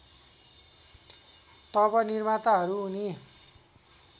तब निर्माताहरू उनी